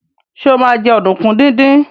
Sọ ma jẹ́ ọ̀dùnkún díndín?